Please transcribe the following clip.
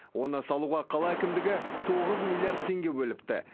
оны салуға қала әкімдігі тоғыз миллиард теңге бөліпті